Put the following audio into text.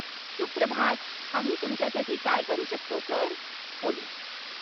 सुप्रभात. आम्ही तुमच्यासाठी काय करू शकतो, सर? पोलीस